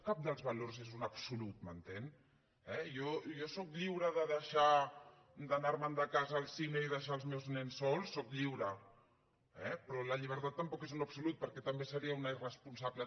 cap dels valors és un absolut m’entén jo sóc lliure d’anarme’n de casa al cine i deixar els meus nens sols sóc lliure però la llibertat tampoc és un absolut perquè també seria una irresponsable